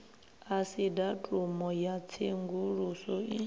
asi datumu ya tshenguluso i